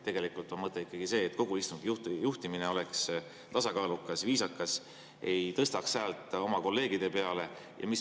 Tegelikult on mõte ikkagi see, et kogu istungi juhtimine oleks tasakaalukas ja viisakas ning te ei tõstaks häält oma kolleegide peale.